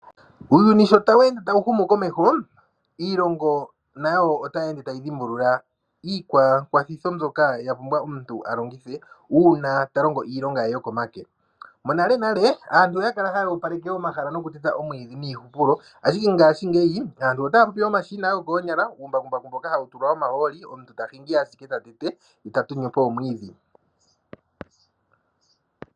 Uuyuni sho tawu ende tawu humu komeho, iilongo nayo otaye ende taya dhimbulula iikwakwathitho mbyoka ya pumbwa omuntu a longithe una ta longo iilonga ye yokomake. Monalenale, aantu oya kala haya opaleke omahala nokuteta omwiidhi niihupulo ashike ngaashingeyi aantu otaya popi omashina gokoonyala, uumbakumbaku mboka ha wu tulwa omahooli omuntu ta tenge po omwiidhi.